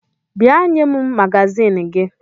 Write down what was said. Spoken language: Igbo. Bịa nye m magazin gị!